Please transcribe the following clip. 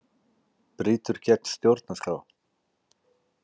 Brýtur gegn stjórnarskrá